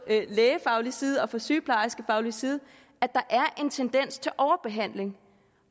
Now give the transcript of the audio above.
lægefaglig side og fra sygeplejerskefaglig side at der er en tendens til overbehandling